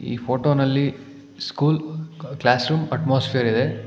ಈ ಫೋಟೋನಲ್ಲಿ school classroom atmosphere ಇದೆ.